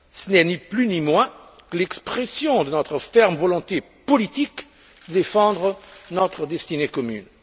Ce n'est ni plus ni moins que l'expression de notre ferme volonté politique de défendre notre destinée commune.